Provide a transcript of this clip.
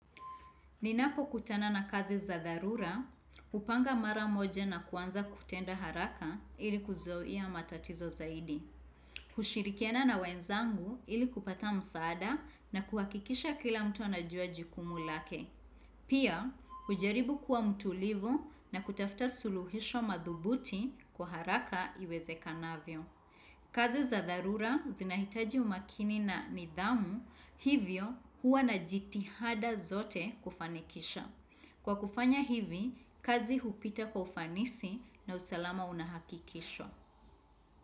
Ninapokutana na kazi za dharura, hupanga mara moja na kuanza kutenda haraka ili kuzuia matatizo zaidi. Hushirikiana na wenzangu ili kupata msaada na kuhakikisha kila mtu anajua jukumu lake. Pia, hujaribu kuwa mtulivu na kutafta suluhisho madhubuti kwa haraka iwezekanavyo. Kazi za dharura zinahitaji umakini na nidhamu hivyo huwa na jitihada zote kufanikisha. Kwa kufanya hivi, kazi hupita kwa ufanisi na usalama una hakikisho.